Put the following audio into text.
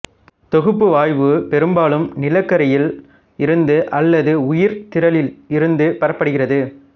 தொகுப்பு வாயு பெரும்பாலும் நிலக்கரியில் இருந்து அல்லது உயிர்த்திரளில் இருந்து பெறப்படுகிறது